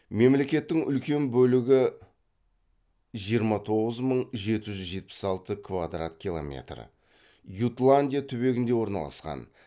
мемлекеттің үлкен бөлігі ютландия түбегінде орналасқан